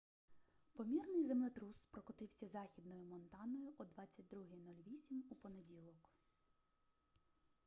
помірний землетрус прокотився західною монтаною о 22:08 у понеділок